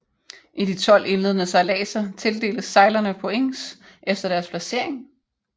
I de 12 indledende sejladser tildeles sejlerne points efter deres placering